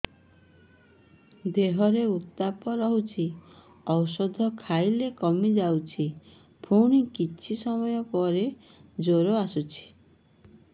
ଦେହର ଉତ୍ତାପ ରହୁଛି ଔଷଧ ଖାଇଲେ କମିଯାଉଛି ପୁଣି କିଛି ସମୟ ପରେ ଜ୍ୱର ଆସୁଛି